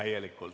Aitäh!